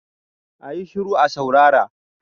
A yi shiru a saurara!